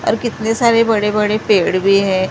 और कितने सारे बड़े बड़े पेड़ भी हैं।